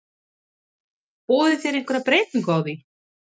Boðið þið einhverja breytingu á því?